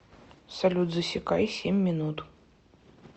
салют засекай семь минут